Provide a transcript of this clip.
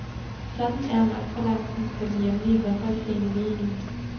Sådan er magtbalancen på den hjemlige håndboldscene lige nu.